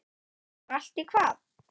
Var allt í hvað?